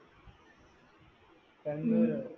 കണ്ണൂരോ